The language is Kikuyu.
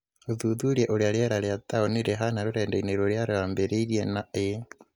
ũthuthurie ũrĩa rĩera rĩa taũni rĩhaana rũrenda-inĩ rũrĩa rwĩambĩrĩria na a